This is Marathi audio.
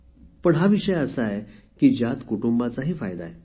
पण हा विषय असा आहे की ज्यात कुटुंबाचाही फायदा आहे